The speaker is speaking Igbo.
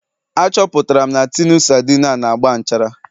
Achọpụtara m na tinu sardine a na-agba nchara